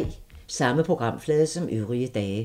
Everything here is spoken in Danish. Samme programflade som øvrige dage